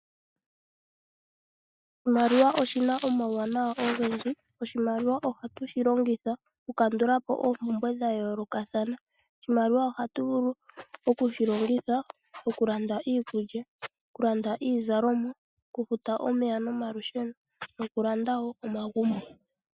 Oshimaliwa oshina omawuwanawa ogendji. Oshinamwenyo ohatu shilongitha oku kandulapo oompumbwe dha yoolokathana. Oshimaliwa ohatu vulu okushilongitha okulanda iikulya, okulanda iizalomwa ,okufuta omeya nomalusheno nokulanda woo omagumbo.